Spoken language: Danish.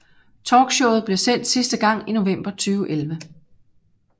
Talkshowet blev sendt sidste gang i november 2011